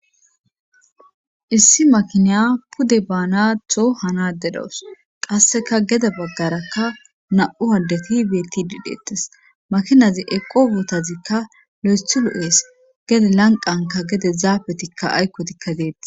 issi makiniya pude baanatho hanade dawus qasseka gede baggarakka na7u haddeti beeti didhetes makinazi eqowotazikka le7esthulu7ees gede lanqanka gede zaabetikka aykkotikka deetti